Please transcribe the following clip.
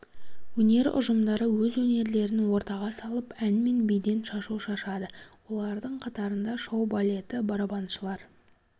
өнер ұжымдары өз өнерлерін ортаға салып ән мен биден шашу шашады олардың қатарында шоу-балеті барабаншылар